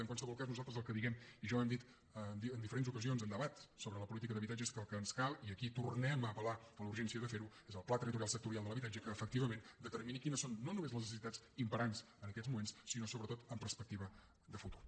en qualsevol cas nosaltres el que diem i ja ho hem dit en diferents ocasions en debats sobre la política d’habitatge és que el que ens cal i aquí tornem a apel·lar a la urgència de ferho és el pla territorial sectorial de l’habitatge que efectivament determini quines són no només les necessitats imperants en aquests moments sinó sobretot amb perspectiva de futur